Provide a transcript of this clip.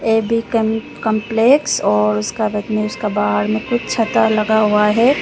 ए B complex और बाहर में कुछ छाता लगा हुआ है।